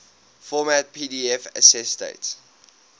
format pdf accessdate